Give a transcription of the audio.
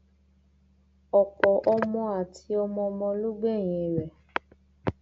ọpọ ọmọ àti ọmọọmọ ló gbẹyìn rẹ